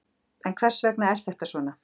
En hvers vegna er þetta svona?